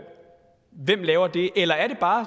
eller er det bare